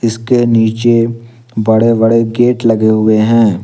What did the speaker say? इसके नीचे बड़े बड़े गेट लगे हुए हैं।